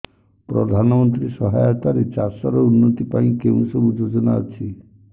ପ୍ରଧାନମନ୍ତ୍ରୀ ସହାୟତା ରେ ଚାଷ ର ଉନ୍ନତି ପାଇଁ କେଉଁ ସବୁ ଯୋଜନା ଅଛି